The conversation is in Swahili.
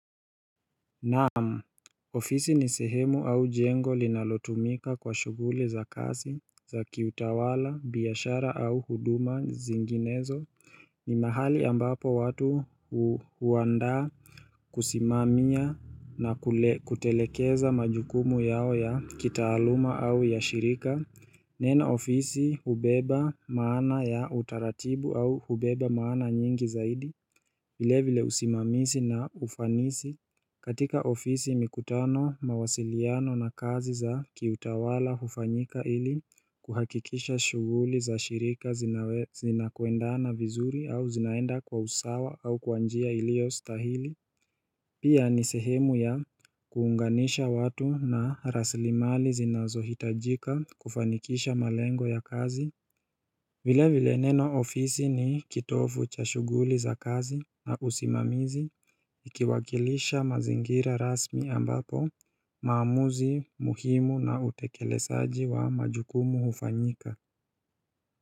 Naam ofisi ni sehemu au jengo linalotumika kwa shuguli za kasi za kiutawala, biashara au huduma zinginezo ni mahali ambapo watu huandaa kusimamia na kutelekeza majukumu yao ya kitaaluma au ya shirika Neno ofisi hubeba maana ya utaratibu au hubeba maana nyingi zaidi vile vile usimamisi na ufanisi katika ofisi mikutano mawasiliano na kazi za kiutawala hufanyika ili kuhakikisha shughuli za shirika zinakwenda na vizuri au zinaenda kwa usawa au kwa njia ilio stahili Pia ni sehemu ya kuunganisha watu na rasilimali zinazohitajika kufanikisha malengo ya kazi vile vile neno ofisi ni kitovu cha shuguli za kazi na usimamizi ikiwakilisha mazingira rasmi ambapo maamuzi muhimu na utekelesaji wa majukumu hufanyika.